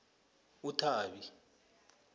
uthabi